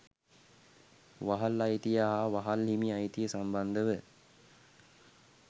වහල් අයිතිය හා වහල් හිමි අයිතිය සම්බන්ධව